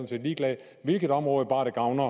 set ligeglad hvilket område bare det gavner